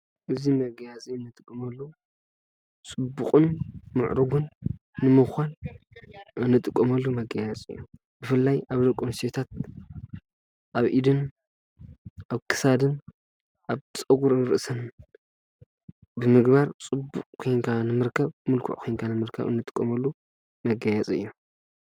እዚ መጋየፂ ንጥቀመሉ ፅቡቅን ምዕሩግን ንምዃን እንጥቀመሉ መጋየፂ እዩ። ብፍላይ ኣብ ደቂ ኣንስትዮታት ኣብ ኢድን ኣብ ክሳድን ኣብ ፀጉሪን ርእስን ብምግባር ፅቡቅ ኮይንካ ንምርካብ ሙልኩዕ ኮንካ እንጥቀመሉ መጋየፂ እዩ።